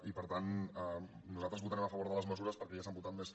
i per tant nosaltres votarem a favor de les mesures perquè ja s’han votat més